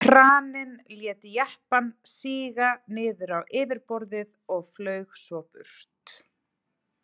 Kraninn lét jeppann síga niður á yfirborðið og flaug svo burt.